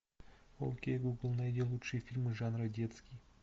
окей гугл найди лучшие фильмы жанра детский